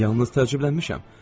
Yalnız təcrübələnmişəm.